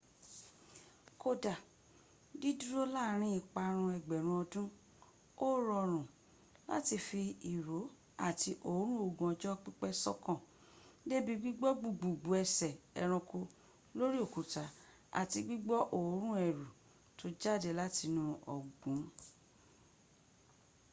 kódá dídúró láàrin ìparun ẹgbẹ̀rún ọdún ó rọrùn láti fi ìró àti òórùn ogun ọjọ́ pípẹ̀ sọ́kàn débí gbígbọ́ gbùgbùgbù ẹsẹ ẹranko lórí òkúta àti gbígbọ́ òórùn ẹ̀rù tó jáde látinú ọ̀gbun